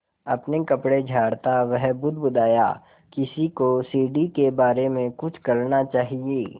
अपने कपड़े झाड़ता वह बुदबुदाया किसी को सीढ़ी के बारे में कुछ करना चाहिए